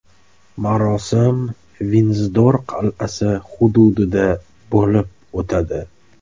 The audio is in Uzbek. Marosim Vindzor qal’asi hududida bo‘lib o‘tadi.